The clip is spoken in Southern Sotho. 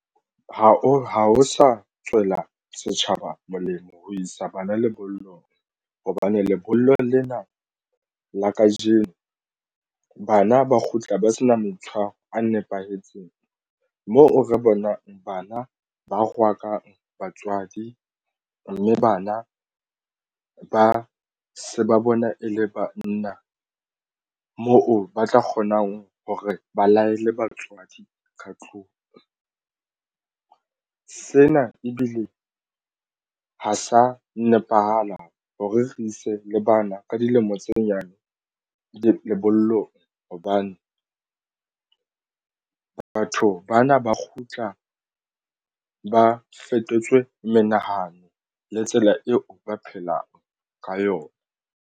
Ha ho sa tswela setjhaba molemo ho isa bana lebollong hobane lebollo lena la kajeno bana ba kgutla ba se na meitshwaro a nepahetseng moo re bonang bana ba rwakanang batswadi mme bana ba se ba bona e le banna moo ba tla kgonang hore ba laele batswadi ka tlung. Sena ebile ha sa nepahala hore re ise le bana ka dilemo tse nyane lebollong hobane batho bana ba kgutla ba fetotswe menahano le tsela eo ba phelang ka yona.